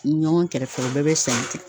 Ɲɔgɔn kɛrɛfɛ u bɛɛ bɛ sɛnɛ ten.